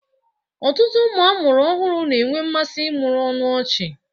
Ọtụtụ ụmụ amụrụ ọhụrụ na-enwe mmasị ịmụrị ọnụ ọchị